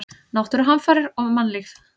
Náttúruhamfarir og mannlíf.